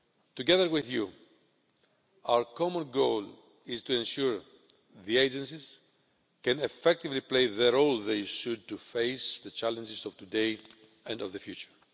Together with you, our common goal is to ensure that the agencies can effectively play the role they should, in order to face the challenges of today and of the future.